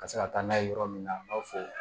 Ka se ka taa n'a ye yɔrɔ min na an b'a fɔ